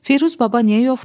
Firuz baba niyə yoxdur?